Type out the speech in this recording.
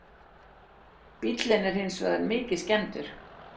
Bíllinn er hins vegar mikið skemmdur